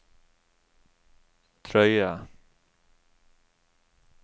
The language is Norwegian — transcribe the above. drøye